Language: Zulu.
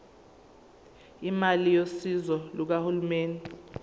imali yosizo lukahulumeni